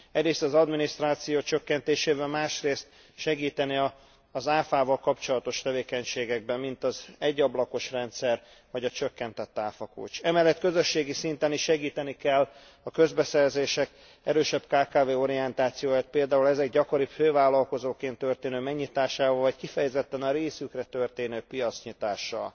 Egyrészt az adminisztráció csökkentésével, másrészt segíteni az áfával kapcsolatos tevékenységekben, mint az egyablakos rendszer vagy a csökkentett áfakulcs. Emellett közösségi szinten is segíteni kell a közbeszerzések erősebb kkv orientációját, például ezek gyakoribb fővállalkozóként történő megnyitásával, vagy kifejezetten a részükre történő piacnyitással.